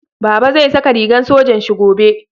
Baba zai saka rigan sojan Shi gobe